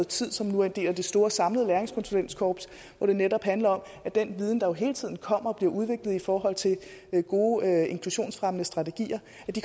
tid og som nu er en del af det store samlede læringskonsulentkorps hvor det netop handler om at den viden der jo hele tiden kommer og bliver udviklet i forhold til gode inklusionsfremmende strategier